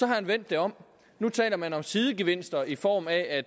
havde vendt det om nu taler man om sidegevinster i form af at